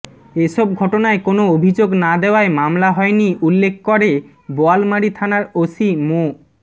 এসব ঘটনায় কোনো অভিযোগ না দেওয়ায় মামলা হয়নি উল্লেখ করে বোয়ালমারী থানার ওসি মো